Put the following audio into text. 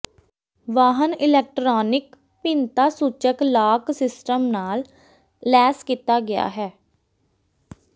ਵਾਹਨ ਇਲੈਕਟ੍ਰਾਨਿਕ ਭਿੰਨਤਾਸੂਚਕ lock system ਨਾਲ ਲੈਸ ਕੀਤਾ ਗਿਆ ਹੈ